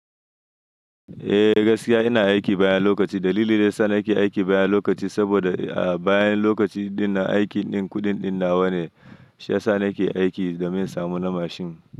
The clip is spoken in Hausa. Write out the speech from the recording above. Eh gaskiya ina aiki bayan lokaci. Dalili da ya sa nake aiki bayan lokaci saboda a bayan lokaci ɗin na aiki ɗin kuɗin ɗin nawa ne, shi ya sa nake aiki domin samu na mashin.